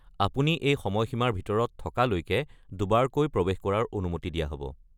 আপুনি এই সময়সীমাৰ ভিতৰত থকালৈকে দুবাৰকৈ প্ৰৱেশ কৰাৰ অনুমতি দিয়া হ'ব।